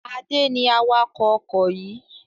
Adé ni awakọ̀ ọkọ̀ yìí.